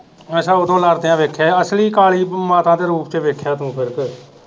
ਅੱਛਾ ਉਦੋਂ ਲੜਦੀਆਂ ਵੇਖਿਆ ਅਸਲੀ ਕਾਲੀ ਮਾਤਾ ਦੇ ਰੂਪ ਚ ਵੇਖਿਆ ਤੂੰ ਫਿਰ ਕੇ।